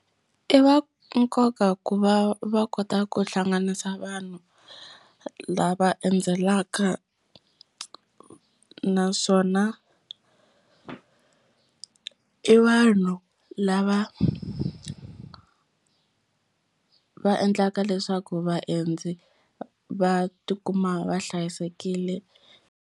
I va nkoka ku va va kota ku hlanganisa vanhu lava endzelaka naswona i vanhu lava va endlaka leswaku vaendzi va tikuma va hlayisekile.